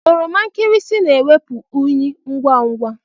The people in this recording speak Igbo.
Oroma nkịrịsị na-ewepụ unyị ngwa ngwa.